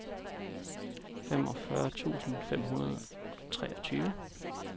femogfyrre tusind fem hundrede og treogtyve